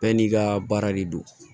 Bɛɛ n'i ka baara de don